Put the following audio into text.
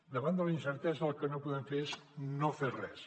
davant de la incertesa el que no podem fer és no fer res